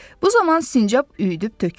Bu zaman sincab üyüdüb tökürdü.